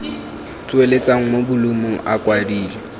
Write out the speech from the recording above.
tsweletswa mo bolumong a kwadilwe